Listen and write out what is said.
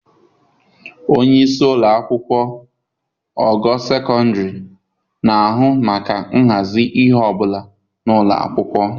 Onye isi ụlọ akwụkwọ ogo sekọndịrị na-ahụ maka ịhazi ihe ọ bụla na ụlọ akwụkwọ.